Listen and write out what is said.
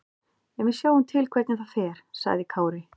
En við sjáum til hvernig það fer, sagði Kári.